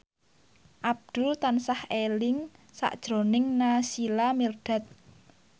Abdul tansah eling sakjroning Naysila Mirdad